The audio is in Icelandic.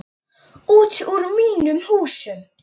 Út úr mínum húsum!